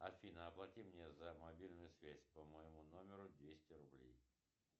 афина оплати мне за мобильную связь по моему номеру двести рублей